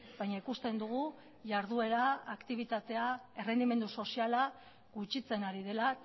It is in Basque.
baina ikusten dugu jarduera aktibitatea errendimendu soziala gutxitzen ari dela